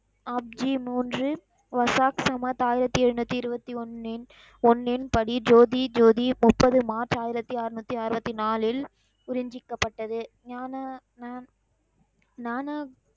app ஜி மூன்று வசாப் சமாத் ஆயிரத்தி எழுநூத்தி இருவத்தி ஒன்னின், ஒன்னின் படி ஜோதி, ஜோதி, முப்பது மார்ச் ஆயிரத்தி அறுநூத்தி அருவத்தி நாளில் குருஞ்சிக்கப்பட்டது ஞான, ஞான,